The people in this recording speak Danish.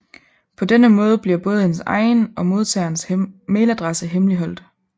På denne måde bliver både ens egen og modtagerens mailadresse hemmeligholdt